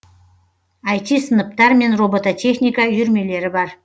айти сыныптар мен робототехника үйірмелері бар